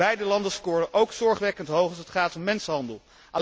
Beide landen scoren ook zorgwekkend hoog als het gaat om mensenhandel.